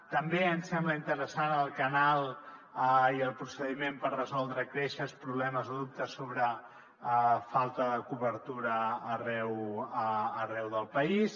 també ens sembla interessant el canal i el procediment per resoldre queixes problemes o dubtes sobre falta de cobertura arreu del país